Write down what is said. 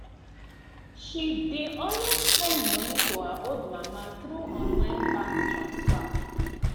she dey always send monii to her old mama through online bank transfer